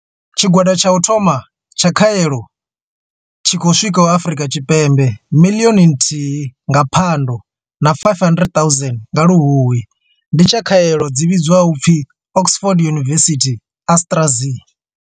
Tshigwada tsha u thoma tsha khaelo tshi khou swikaho Afrika Tshipembe miḽioni nthihi nga Phando na 500 000 nga Luhuhi ndi tsha khaelo dzi vhidzwaho u pfi Oxford University-AstraZ.